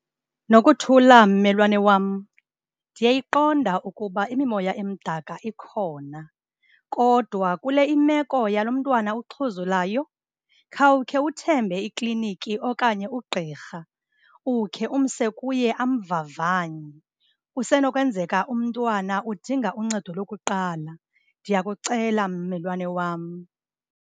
Nokuthula mmelwane wam, ndiyayiqonda ukuba imimoya emdaka ikhona kodwa kule imeko yalo mntwana uxhuzulayo, khawukhe uthembe ikliniki okanye ugqirha ukhe umse kuye amvavanye. Kusenokwenzeka umntwana udinga uncedo lokuqala. Ndiyakucela mmelwane wam.